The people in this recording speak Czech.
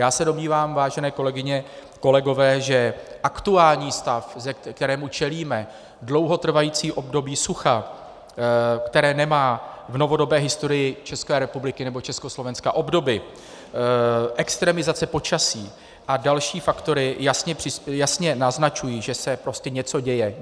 Já se domnívám, vážené kolegyně, kolegové, že aktuální stav, kterému čelíme, dlouhotrvající období sucha, které nemá v novodobé historii České republiky nebo Československa obdoby, extremizace počasí a další faktory jasně naznačují, že se prostě něco děje.